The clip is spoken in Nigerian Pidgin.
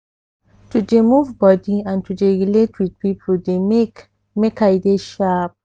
to dey move body and to dey relate with people dey make make i dey sharp